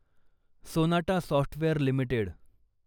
Sonata software limited